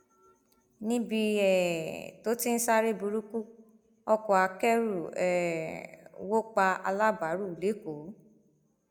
níbi um tó ti ń sáré burúkú ọkọ akẹrù um wọ pa alábàárù lẹkọọ